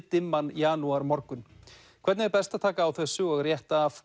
niðdimman janúarmorgun hvernig er best að taka á þessu og rétta af